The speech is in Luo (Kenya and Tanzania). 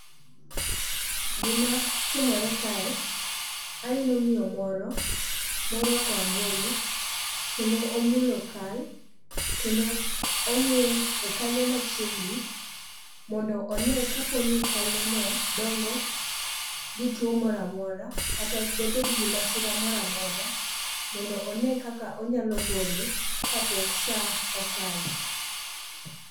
Gimatimore kae, aneno miyo moro morwako angolo kendo omulo kal kendo ong'iye e kanyo machiegni mondo one kaponi kalneno dongo gituo moro amora kata dobed gi masira moro amora mondo one kaka onyalo gole kapok sa okalo.